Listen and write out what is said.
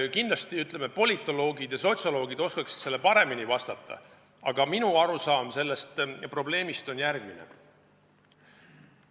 Jah, kindlasti, ütleme, politoloogid ja sotsioloogid oskaksid sellele paremini vastata, aga minu arusaam sellest probleemist on järgmine.